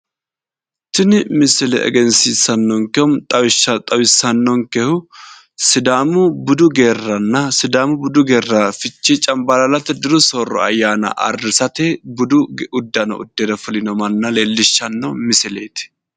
Tini misile egenisiisannonikehu xawissanonikehu sidaamu budu geerana sidaamu budu geera fichee canibalaalate diru sooro ayaana ayirisate budu uddano uddire fulino manna leelishanno misileet